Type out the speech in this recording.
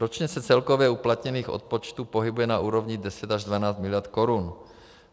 Ročně se celkově uplatněných odpočtů pohybuje na úrovni 10 až 12 miliard korun.